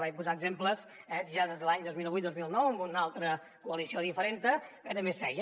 vaig posar exemples ja des de l’any dos mil vuit dos mil nou amb una altra coalició diferenta que també es feia